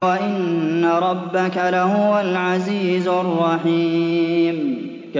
وَإِنَّ رَبَّكَ لَهُوَ الْعَزِيزُ الرَّحِيمُ